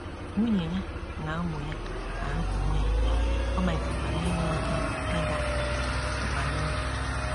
Nwunye ya na ụmụ ya ahapụwo ya, ọ malitekwara inwe oké ịda mbà n’obi.